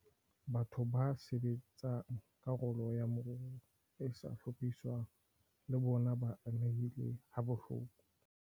Batho ba sebetsang karolong ya moruo e sa hlophiswang le bona ba amehile habohloko.